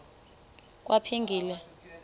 kwaphilingile